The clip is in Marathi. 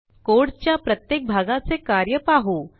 कोड च्या प्रत्येक भागाचे कार्य पाहू